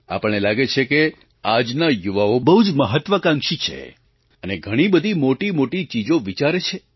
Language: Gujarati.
આપણને લાગે છે કે આજના યુવાઓ બહુ જ મહત્ત્વાકાંક્ષી છે અને ઘણી બધી મોટી મોટી ચીજો વિચારે છે